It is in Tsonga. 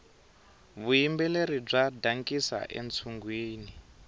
vuyimbeleri bya dankisa entshungwini